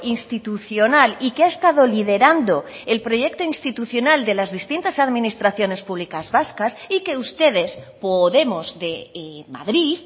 institucional y que ha estado liderando el proyecto institucional de las distintas administraciones públicas vascas y que ustedes podemos de madrid